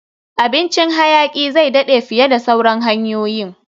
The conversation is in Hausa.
Abincin hayaki zai daɗe fiye da sauran hanyoyin